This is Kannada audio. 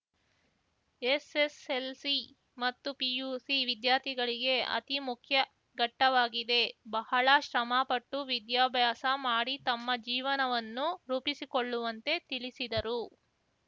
ಎಸ್‌ಎಸ್‌ಎಲ್‌ಸಿ ಮತ್ತು ಪಿಯುಸಿ ವಿದ್ಯಾರ್ಥಿಗಳಿಗೆ ಅತಿಮುಖ್ಯ ಘಟ್ಟವಾಗಿದೆ ಬಹಳ ಶ್ರಮಪಟ್ಟು ವಿದ್ಯಾಭ್ಯಾಸ ಮಾಡಿ ತಮ್ಮ ಜೀವನವನ್ನು ರೂಪಿಸಿಕೊಳ್ಳುವಂತೆ ತಿಳಿಸಿದರು